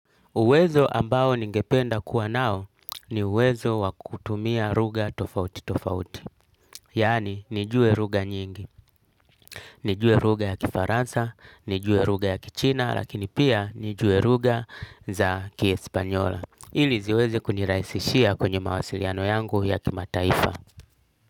Uwezo ambao ningependa kuwa nao ni uwezo wa kutumia lugha tofauti tofauti. Yaani, nijue lugha nyingi. Nijue lugha ya kifaransa, nijue lugha ya kichina, lakini pia nijue lugha za kiespanyola. Ili ziweze kunirahisishia kwenye mawasiliano yangu ya kimataifa.